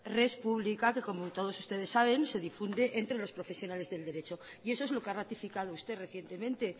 res pública que como todos ustedes saben se difunde entre los profesionales del derecho y eso es lo que ha ratificado usted recientemente